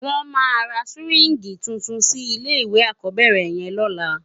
Wòn má rá siwingi túntún si ilé iwé ákòbèrè yèn lòlá